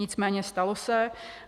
Nicméně stalo se.